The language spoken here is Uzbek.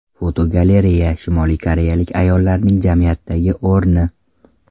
Fotogalereya: Shimoliy koreyalik ayollarning jamiyatdagi o‘rni.